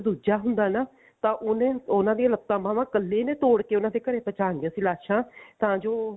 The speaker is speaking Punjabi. ਦੂਜਾ ਹੁੰਦਾ ਨਾ ਤਾਂ ਉਹਨੇ ਉਹਨਾ ਦੀਆਂ ਲੱਤਾਂ ਬਾਵਾਂ ਕੱਲੇ ਨੇ ਤੋੜ ਕੇ ਉਹਨਾ ਦੇ ਘਰੇ ਪਹੁੰਚਾਨੀਆ ਸੀ ਲਾਸ਼ਾਂ ਤਾਂ ਜੋ